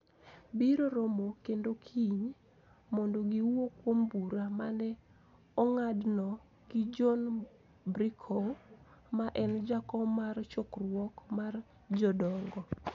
Biro romo kendo kiny, mondo giwuo kuom bura ma ne ong'adno gi John Brecow, ma en jakom mar chokruok mar jodongo.